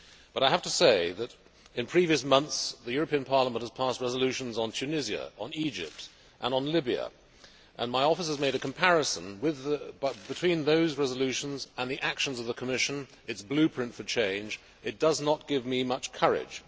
However, I have to say that in previous months, the European Parliament has passed resolutions on Tunisia, Egypt and Libya, and my office has made a comparison between those resolutions and the actions of the Commission, its blueprint for change, and it does not give me much courage.